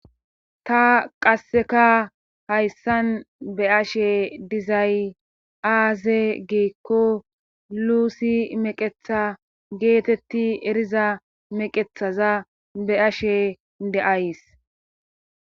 Ta qasseka hayssan be ashe dizayaaze giikko luusi meqetha geetetti eriza meqethaza be ashe de'ays.